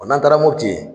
n'an taara mopti